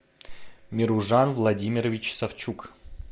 меружан владимирович савчук